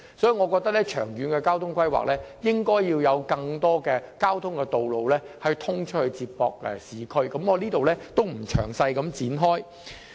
所以，我認為長遠交通規劃方面，應該要有更多接駁市區的道路，我在此不作詳細闡述。